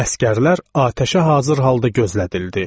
Əsgərlər atəşə hazır halda gözlədildi.